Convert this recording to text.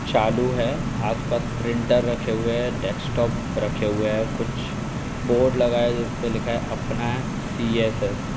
चालू है आसपास प्रिंटर रखे हुए है डेस्कटॉप रखे हुए है कुछ बोर्ड लगा है जिस पे लिखा है अपना सी.एस.एस. ।